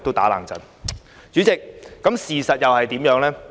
代理主席，事實是怎樣的呢？